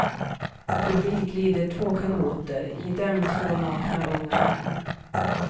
Förbi glider två kanoter, i dem två nakna unga män.